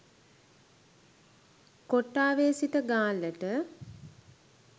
කොට්ටාවේ සිට ගාල්ලට